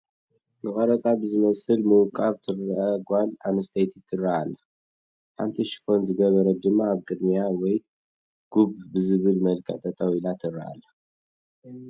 ንቀረፃ ብዝመስል ምውቃብ ትርአ ጓል ኣነስተይቲ ትርአ ኣላ፡፡ ሓንቲ ሽፎን ዝገበረት ድማ ኣብ ቅድሚኣ ወይ ጉድ ብዝብል መልክዕ ጠጠው ኢላ ትርአ ኣላ፡፡